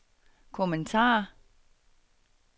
kommentar